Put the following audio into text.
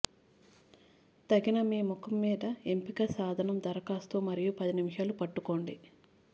తగిన మీ ముఖం మీద ఎంపిక సాధనం దరఖాస్తు మరియు పది నిమిషాలు పట్టుకోండి